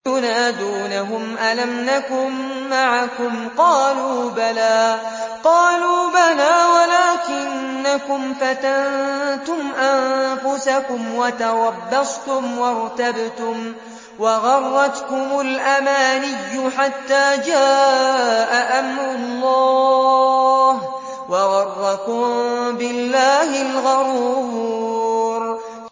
يُنَادُونَهُمْ أَلَمْ نَكُن مَّعَكُمْ ۖ قَالُوا بَلَىٰ وَلَٰكِنَّكُمْ فَتَنتُمْ أَنفُسَكُمْ وَتَرَبَّصْتُمْ وَارْتَبْتُمْ وَغَرَّتْكُمُ الْأَمَانِيُّ حَتَّىٰ جَاءَ أَمْرُ اللَّهِ وَغَرَّكُم بِاللَّهِ الْغَرُورُ